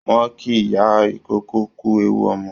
Wọ́n kí ìyá ìkókó kú ewu ọmọ